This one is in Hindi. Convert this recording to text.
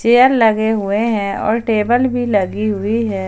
चेयर लगे हुए हैं और टेबल भी लगी हुई है।